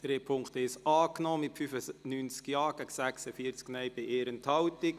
Sie haben den Punkt 1 angenommen mit 95 Ja- gegen 46 Nein-Stimmen bei 1 Enthaltung.